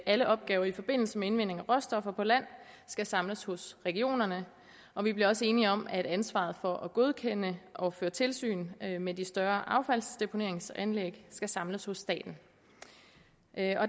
alle opgaver i forbindelse med indvinding af råstoffer på land skal samles hos regionerne og vi blev også enige om at ansvaret for at godkende og føre tilsyn med de større affaldsdeponeringsanlæg skal samles hos staten